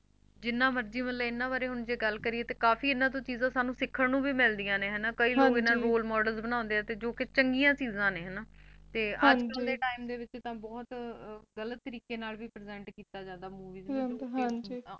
ਜਿੰਨਾ ਮਰਜੀ ਇੰਨਾ ਬਾਰੇ ਤਾਂ ਹੁਣ ਗਲ ਕਰੀਏ ਤਾਂ ਕਾਫੀ ਇਹਨਾਂ ਤੋ ਸਾਨੂੰ ਚੀਜਾ ਸੀਖਨ ਨੂੰ ਵੀ ਮਿਲਦੀਆਂ ਨੇ ਹੈਨਾ ਕਈ ਲੋਕ ਇਹਨਾਂ ਨੂੰ Role Models ਬਨਾਣੇ ਨੇ ਜੌ ਕਿ ਚੰਗੀਆ ਚੀਜਾ ਨੇ ਹੈਨਾ ਤੇ ਅੱਜਕਲ੍ਹ ਦੇ Time ਦੇ ਵਿੱਚ ਤਾਂ ਬਹੁਤ ਗਲਤ ਤਰੀਕੇ ਨਾਲ ਵੀ Present ਕੀਤਾ ਜੰਦਾ